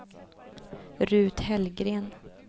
Rut Hellgren